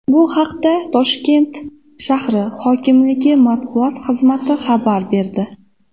Bu haqda Toshkent shahri hokimligi matbuot xizmati xabar berdi .